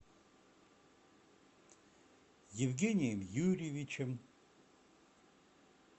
евгением юрьевичем